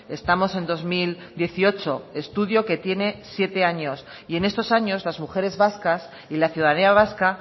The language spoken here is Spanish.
estamos en dos mil dieciocho estudio que tiene siete años y en estos años las mujeres vascas y la ciudadanía vasca